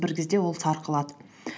бір кезде ол сарқылады